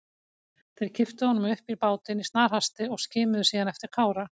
Þeir kipptu honum upp í bátinn í snarhasti og skimuðu síðan eftir Kára.